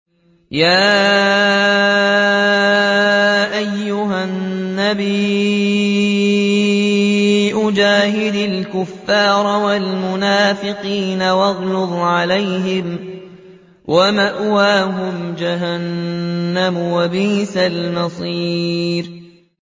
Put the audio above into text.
يَا أَيُّهَا النَّبِيُّ جَاهِدِ الْكُفَّارَ وَالْمُنَافِقِينَ وَاغْلُظْ عَلَيْهِمْ ۚ وَمَأْوَاهُمْ جَهَنَّمُ ۖ وَبِئْسَ الْمَصِيرُ